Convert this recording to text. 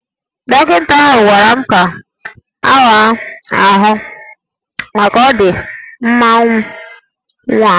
Dọkịta ahụ gwara m ka awa m ahụ maka ọ dị mma nwa m